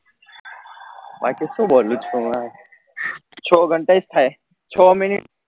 બાકી શું બોલું સુ હવે છ ઘંટે જ થયા છ minute